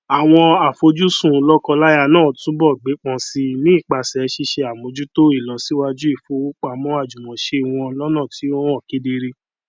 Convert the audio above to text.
àwọn àfojùsùn lọkọláya náà túnbọ gbépọn sí i nípasẹ ṣíṣe àmójútó ìlọsíwájú ìfowópamọ àjùmọṣe wọn lọnà tí ó hàn kedere